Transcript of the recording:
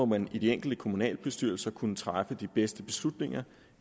man i de enkelte kommunalbestyrelser kunne træffe de bedste beslutninger